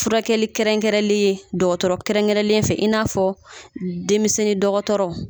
Furakɛli kɛrɛnkɛrɛnnen ,dɔgɔtɔrɔ kɛrɛnkɛrɛnnen fɛ, i n'a fɔ denmisɛnnin dɔgɔtɔrɔ